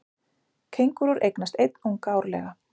Kengúrur eignast einn unga árlega.